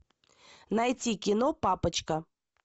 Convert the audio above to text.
найти кино папочка